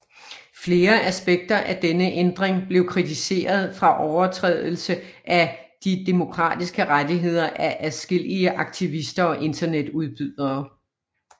Flere aspekter af denne ændring blev kritiseret fra overtrædelse af de demokratiske rettigheder af adskillige aktivister og internetudbydere